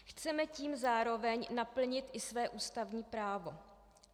Chceme tím zároveň naplnit i své ústavní právo.